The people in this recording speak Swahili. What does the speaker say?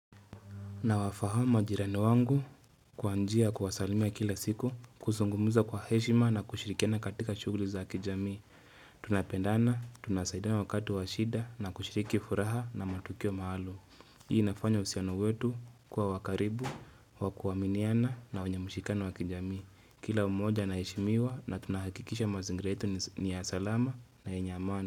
Nawafaham majirani wangu kwa njia ya kuwasalimia kila siku, kusungumuza kwa heshima na kushirikiana katika shuguli za kijamii. Tunapendana, tunasaidana wakati wa shida na kushiriki furaha na matukio maalum. Hii inafanya usiano wetu kwa wa karibu, wakuaminiana na wenye mushikano wakijamii. Kila mmoja anaheshimiwa na tunahakikisha mazingira yetu ni ya salama na yenye amani.